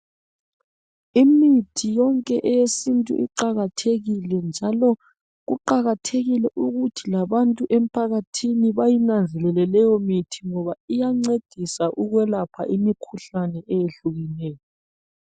Imithi yonke eyesintu iqakathekile njalo kuqakathekile ukuthi labantu emphakathini bayinanzelele leyo mithi ngoba iyancedisa ukwelapha imikhuhlane eyehlukeneyo